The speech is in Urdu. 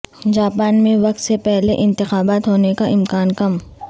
جاپان میں وقت سے پہلے انتخابات ہونے کا امکان کم